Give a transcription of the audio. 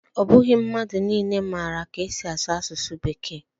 Ọ bụghị mmadụ niile maara ka esi asụ asụsụ Bekee